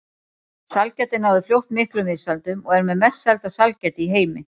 Sælgætið náði fljótt miklum vinsældum og er með mest selda sælgæti í heimi.